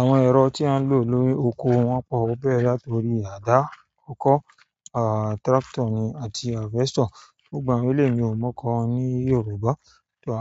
Àwọn ẹ̀rọ tí a ń lò ní oko wọ́n pọ̀ ó bẹ̀rẹ̀ látorí àdá, okọ́, tractor ni, àti harvester. Gbogbo àwọn eléyìí mi ò mọ oókọ wọn ní Yorùbá.